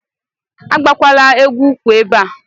Agbakwala egwu ukwu ebe a.